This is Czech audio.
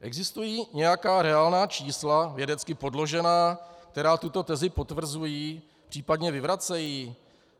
Existují nějaká reálná čísla, vědecky podložená, která tuto tezi potvrzují, případně vyvracejí?